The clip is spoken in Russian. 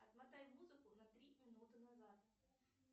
отмотай музыку на три минуты назад